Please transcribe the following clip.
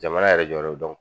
Jamana yɛrɛ jɔyɔrɔ